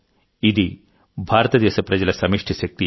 ఇది భారతదేశ ప్రజల సమష్టి శక్తి